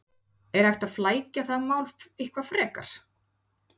Er hægt að flækja það mál eitthvað frekar?